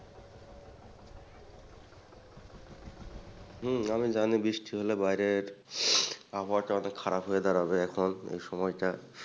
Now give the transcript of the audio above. হম আমি জানি বৃষ্টি হলে বাইরের আবহাওয়াটা অনেক খারাপ হয়ে দাঁড়াবে এখন এই সময়টা।